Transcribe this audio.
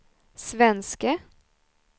svenske